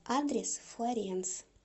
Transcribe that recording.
адрес флоренс